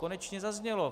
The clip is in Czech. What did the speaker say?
Konečně zaznělo.